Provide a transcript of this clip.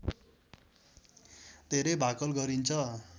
धेरै भाकल गरिन्छ